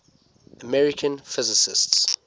american physicists